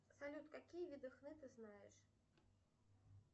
салют какие виды хны ты знаешь